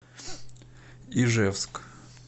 ижевск